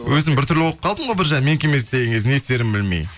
өзім бір түрлі болып қалдым ғой біржан менікі емес деген кезде не істерімді білмей